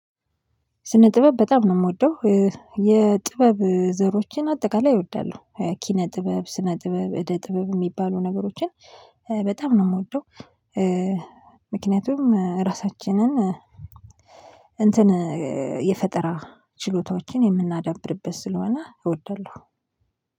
ስነ ጥበብ በጣም ነው ምወደው የጥበብ ዘሮችን አጠቃላይ እወዳለሁ ኪነ ጥበብ፣ ስነ ጥበብ፣ እደ ጥበብ፣ ሚባሉ ነገሮችን በጣም ነው ምወደው ምክንያቱም ራሳችንን እንትን የፈጠራ ችሎታዎችን የምናዳብርበት ስለሆነ እወዳለሁ።